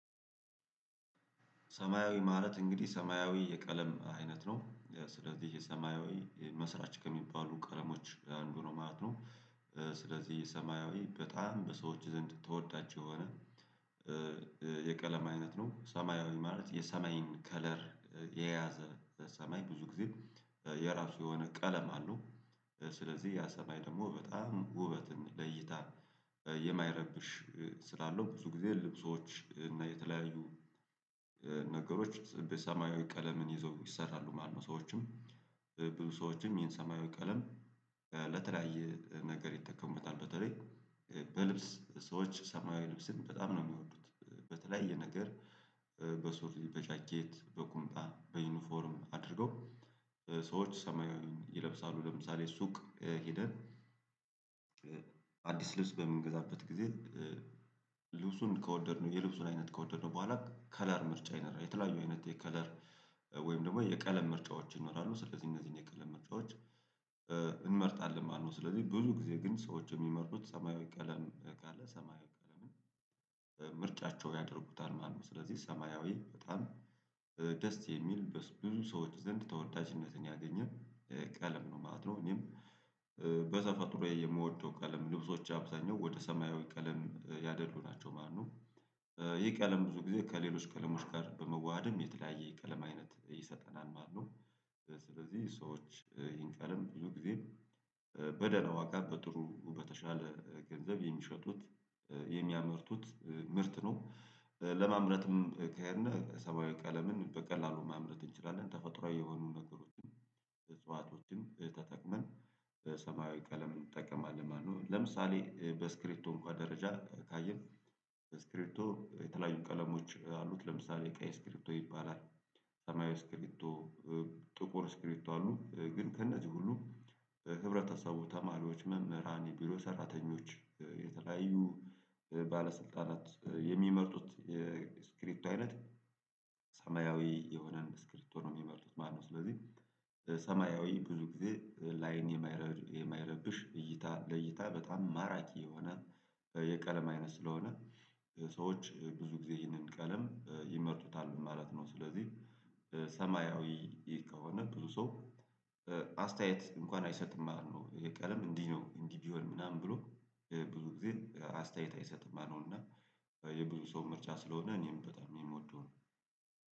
ሰማያዊ ማለት እንግዲህ ሰማያዊ የቀለም አይነት ነው ያው ስለዚህ የሰማያዊ መስራች ከሚባሉ ቀለሞች አንዱ ነው ማለት ነው። ስለዚህ የሰማያዊ በጣም በሰዎች ዘንድ ተወዳጅ የሆነ የቀለም አይነት ነው ሰማያዊ ማለት የሰማይን ከለር የያዘ በሰማይ ብዙ ጊዜ የራሱ የሆነ ቀለም አለው። ስለዚህ ያ ሰማይ ደግሞ በጣም ውበትን ለይታ የማይረብሽ ስላለው ብዙ ጊዜ ልብሶች እና የተለያዩ ነገሮች በሰማያዊ ቀለምን ይዞ ይሰራሉ ማለት ነው። ሰዎችም ብዙ ሰዎችም ይሄን ሰማያዊ ቀለም ለተለያየ ነገር ይጠቀሙበታል በተለይ በልብስ ሰዎች ሰማያዊ ልብስን በጣም ነው የሚወዱት። በተለያየ ነገር በሱሪ በጃኬት በቁምጣ በዩኒፎርም አድርገው ሰዎች ሰማያዊ ይለብሳሉ ለምሳሌ ሱቅ ሄደን አዲስ ልብስ በምንገዛበት ጊዜ ልብሱን ከወደድነው የልብሱን አይነት ከወደድነው በኋላ ከለር ምርጫ ይኖራል የተለያዩ አይነት የከለር ወይም ደግሞ የቀለም ምርጫዎች ይኖራሉ ስለዚህ እነዚህን የቀለም ምርጫዎች እንመርጣለን ማለት ነው። ስለዚህ ብዙ ጊዜ ግን ሰዎች የሚመርጡት ሰማያዊ ቀለም ካለ ሰማያዊ ቀለም ምርጫቸው ያደርጉታል ማለት ነው። ስለዚህ ሰማያዊ በጣም ደስ የሚል ብዙ ሰዎች ዘንድ ተወዳጅነትን ያገኘ ቀለም ነው ማለት ነው። እኔም በተፈጥሮዬ የምወደው ቀለም ልብሶቼ አብዛኛው ወደ ሰማያዊ ቀለም ያደሉ ናቸው ማለት ነው። ይህ ቀለም ብዙ ጊዜ ከሌሎች ቀለሞች ጋር በመዋሀድም የተለያየ ቀለም አይነት ይሰጠናል ማለት ነው። ስለዚህ ሰዎች ይህን ቀለም ብዙ ጊዜ በደና ዋጋ በጥሩ በተሻለ ገንዘብ የሚሸጡት የሚያመርቱት ምርት ነው። ለማምረትም ከሄድነ ሰማያዊ ቀለምን በቀላሉ ማምረት እንችላለን ተፈጥሮአዊ የሆኑ ነገሮችን እጽዋቶችን ተጠቅመን ሰማያዊ ቀለም እንጠቀማለን ማለት ነው። ለምሳሌ በስክሪቶ እንኳን ደረጃ ካየን በስክሪቶ የተለያዩ ቀለሞች አሉት ለምሳሌ የቀይ ስክሪቶ ይባላል ሰማያዊ ስክሪቶ ጥቁር ስክሪቶ አሉ ግን ከእነዚህ ሁሉ ህብረተሰቡ ተማሪዎች መምህራን የቢሮ ሰራተኞች የተለያዩ ባለስልጣናት የሚመርጡት የስክሪቶ አይነት ሰማያዊ የሆነን ስክሪቶ ነው ሚመርጡት ማለት ነው። ስለዚህ ሰማያዊ ብዙ ጊዜ ላይን የማይ የማይረብሽ እይታ ለይታ በጣም ማራኪ የሆነ የቀለም አይነት ስለሆነ ሰዎች ብዙ ጊዜ ይህንን ቀለም ይመርጡታል ማለት ነው። ስለዚህ ሰማያዊ ከሆነ ብዙ ሰው አስተያየት እንኳን አይሰጥም ማለት ነው ይሄ ቀለም እንዲህ ነው እንዲህ ቢሆን ምናምን ብሎ ብዙ ጊዜ አስተያየት አይሰጥም ማለት ነው። እና የብዙ ሰው ምርጫ ስለሆነ እኔም በጣም የምወደው ነው